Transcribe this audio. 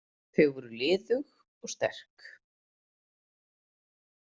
Þau voru liðug og sterk.